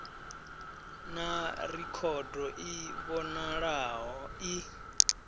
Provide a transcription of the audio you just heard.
na rekhodo i vhonalaho i